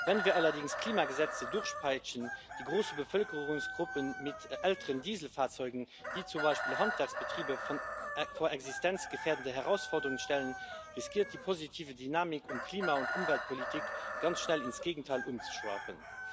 Wenn wir allerdings Klimagesetze durchpeitschen, die große Bevölkerungsgruppen mit älteren Dieselfahrzeugen, wie zum Beispiel Handwerksbetriebe, vor existenzgefährdende Herausforderungen stellen, droht die positive Dynamik bei der Klima und Umweltpolitik ganz schnell ins Gegenteil umzuschwappen.